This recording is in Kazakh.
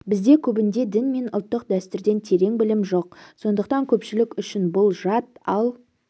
бізде көбінде дін мен ұлттық дәстүрден терең білім жоқ сондықтан көпшілік үшін бұл жат ал